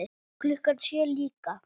Klukkan sjö líka.